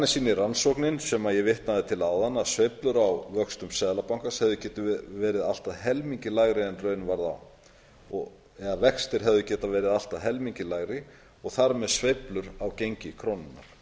sýnir rannsóknin sem ég vitnaði til áðan að sveiflur á vöxtum seðlabankans hefðu getað verið allt að helmingi lægri en raun varð á eða vextir hefðu getað verið allt að helmingi lægri og þar með sveiflur á gengi krónunnar